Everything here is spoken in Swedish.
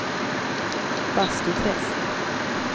Bastuträsk